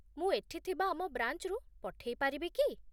ମୁଁ ଏଠି ଥିବା ଆମ ବ୍ରାଞ୍ଚରୁ ପଠେଇ ପାରିବି କି ?